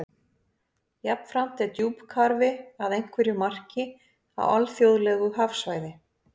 Jafnframt er djúpkarfi að einhverju marki á alþjóðlegu hafsvæði.